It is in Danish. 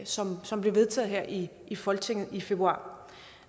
som som blev vedtaget her i i folketinget i februar